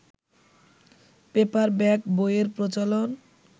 paperback বইয়ের প্রচলন